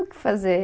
O que fazer.